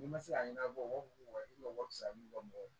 N'i ma se k'a ɲɛnabɔ i ma wari fisaya ni bɔ mɔgɔ ye